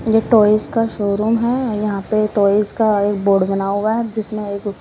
यह टॉयज का शोरूम है यहां पे टॉयज का एक बोर्ड बना हुआ है जिसमें एक --